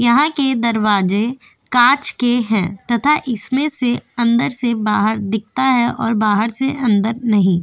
यहां के दरवाजे कांच के है तथा इसमें से अंदर से बाहर दीखता है और बाहर से अंदर नहीं।